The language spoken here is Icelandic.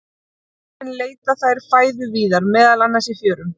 Á sumrin leita þær fæðu víðar, meðal annars í fjörum.